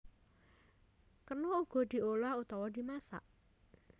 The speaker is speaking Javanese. Kena uga diolah utawa dimasak